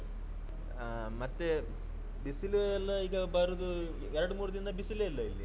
ಹಾ ಮತ್ತೆ ಬಿಸಿಲು ಎಲ್ಲಾ ಈಗ ಬರುದು ಎರಡು ಮೂರುದಿನದಿಂದ ಬಿಸಿಲೆ ಇಲ್ಲ ಇಲ್ಲಿ.